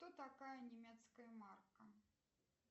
кто такая немецкая марка